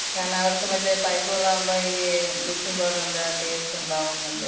കാരണം അവർക്ക് മറ്റെ പൈപ്പ് വെള്ളാവുമ്പ ഈ ബ്ലീച്ചിങ് പൗഡർന്‍റെ ടേസ്റ്റ്ണ്ടാവുംന്നൊക്കെ,